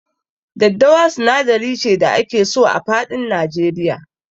Daddawa sinadari ce da ake so a faɗin Nigeria.